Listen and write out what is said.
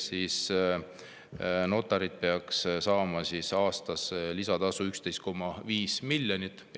Seega notarid peaks saama aastas lisatasu 11,5 miljonit.